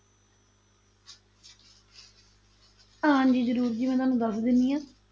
ਹਾਂਜੀ ਜ਼ਰੂਰ ਜੀ ਮੈਂ ਤੁਹਾਨੂੰ ਦੱਸ ਦਿੰਦੀ ਹਾਂ।